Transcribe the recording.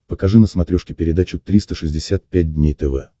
покажи на смотрешке передачу триста шестьдесят пять дней тв